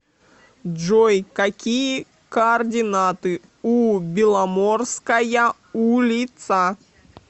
джой какие координаты у беломорская улица